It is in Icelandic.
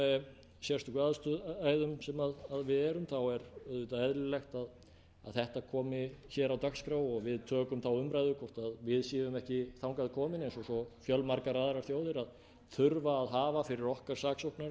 þá er auðvitað eðlilegt að þetta komi á dagskrá og við tökum þá umræðu hvort við séum ekki þangað komin eins og fjölmargar aðrar þjóðir að þurfa að hafa fyrir okkar saksóknara